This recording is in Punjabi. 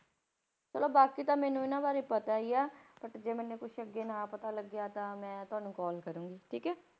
ਚਲੋ ਬਾਕੀ ਤਾਂ ਮੈਨੂੰ ਇਹਨਾਂ ਬਾਰੇ ਪਤਾ ਹੀ ਹੈ but ਜੇ ਮੈਨੂੰ ਕੁਛ ਅੱਗੇ ਨਾ ਪਤਾ ਲੱਗਿਆ ਤਾਂ ਮੈਂ ਤੁਹਾਨੂੰ call ਕਰਾਂਗੀ, ਠੀਕ ਹੈ।